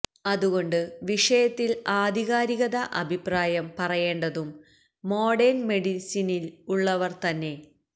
അതു കൊണ്ട് വിഷയത്തില് ആധികാരിക അഭിപ്രായം പറയേണ്ടതും മോഡേണ് മെഡിസിനില് ഉള്ളവര് തന്നെ